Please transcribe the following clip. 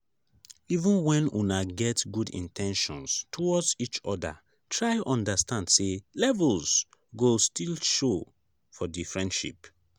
even when una get good in ten tions towards each oda try understand sey levels go still show for di friendship